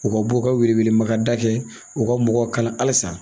U ka bɔ u ka wele welemakada kɛ u ka mɔgɔw kala halisa.